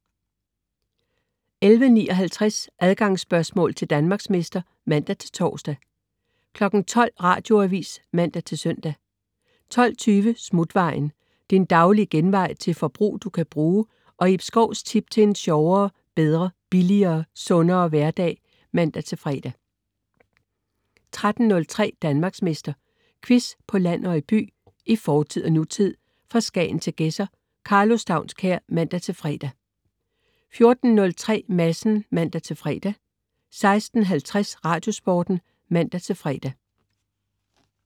11.59 Adgangsspørgsmål til Danmarksmester (man-tors) 12.00 Radioavis (man-søn) 12.20 Smutvejen. Din daglige genvej til forbrug, du kan bruge, og Ib Schous tips til en sjovere, bedre, billigere, sundere hverdag (man-fre) 13.03 Danmarksmester. Quiz på land og by, i fortid og nutid, fra Skagen til Gedser. Karlo Staunskær (man-fre) 14.03 Madsen (man-fre) 16.50 Radiosporten (man-fre)